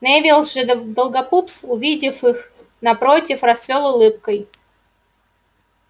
невилл же долгопупс увидев их напротив расцвёл улыбкой